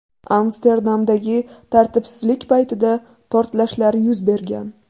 Amsterdamdagi tartibsizlik paytida portlashlar yuz bergan .